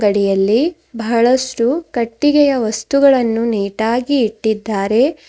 ಅಡಿಯಲ್ಲಿ ಬಹಳಷ್ಟು ಕಟ್ಟಿಗೆಯ ವಸ್ತುಗಳನ್ನು ನೀಟ್ ಆಗಿ ಇಟ್ಟಿದ್ದಾರೆ.